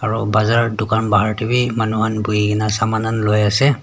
aru bazar dukaan bahar teh bhi manu khan bohina saman han loi ase.